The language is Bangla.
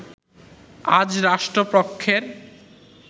আজ রাষ্ট্রপক্ষের